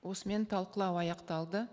осымен талқылау аяқталды